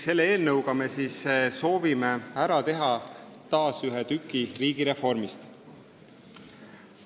Selle eelnõuga me soovime taas ära teha ühe tüki riigireformist.